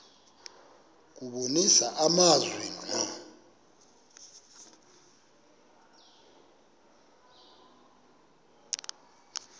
kubonisa amazwi ngqo